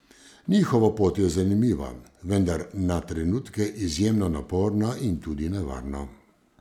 Njihova pot je zanimiva, vendar na trenutke izjemno naporna in tudi nevarna.